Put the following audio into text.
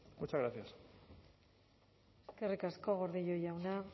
muchas gracias eskerrik asko gordillo jauna